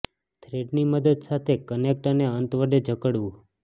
thread ની મદદ સાથે કનેક્ટ અને અંત વડે જકડવું